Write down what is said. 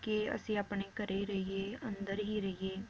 ਕਿ ਅਸੀਂ ਆਪਣੇ ਘਰੇ ਰਹੀਏ ਅੰਦਰ ਹੀ ਰਹੀਏ